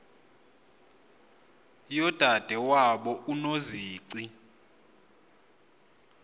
yodade wabo unozici